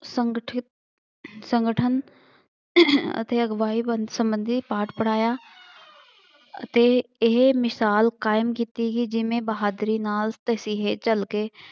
ਸੰਗਠਿਤ ਸੰਗਠਨ ਅਤੇ ਅਗਵਾਈ ਵੱਲ ਸੰਬੰਧੀ ਪਾਠ ਪੜ੍ਹਾਇਆ। ਅਤੇ ਇਹ ਮਿਸਾਲ ਕਾਇਮ ਕੀਤੀ ਗਈ ਜਿਵੇਂ ਬਹਾਦਰੀ ਨਾਲ ਤਸੀਹੇ ਝੱਲ ਕੇ